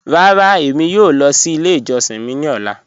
Rárá, èmi yòò lọ sí ilẹ̀ ìjọ̀ṣin mi ni ọ̀lá.